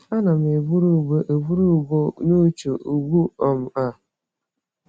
Ana m eburu ugbo eburu ugbo n'uche ugbu um a.